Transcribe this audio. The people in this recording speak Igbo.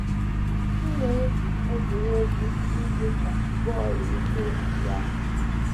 M na - egwu egwuregwu ndị dị ka bọl ụkwụ na squash.